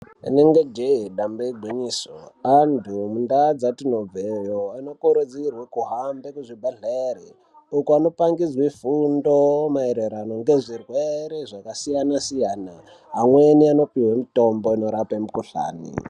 Rinenge jee damba igwinyiso antu mundaa dzatinobveyo anokurudzirwe kuhambe kuzvibhedhleri uko anopangidzwe fundo maererano ngezvirwere zvakasiyana-siyana. Amweni anopihwe mitombo inorape mikuhlani.